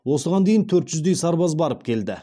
осыған дейін төрт жүздей сарбаз барып келді